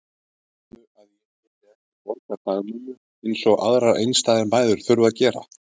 Heldurðu að ég geti ekki borgað dagmömmu eins og aðrar einstæðar mæður þurfa að gera?